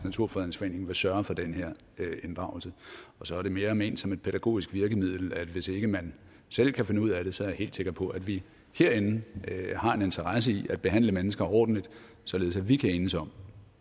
naturfredningsforening vil sørge for den her inddragelse og så er det mere ment som et pædagogisk virkemiddel at hvis ikke man selv kan finde ud af det så er jeg helt sikker på at vi herinde har en interesse i at behandle mennesker ordentligt således at vi kan enes om